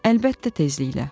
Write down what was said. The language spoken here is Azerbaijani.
Əlbəttə tezliklə.